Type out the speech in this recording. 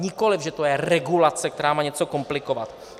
Nikoliv že to je regulace, která má něco komplikovat.